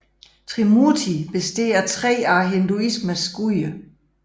Trimurti består af tre af hinduismens guder